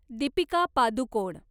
Deepika Padukone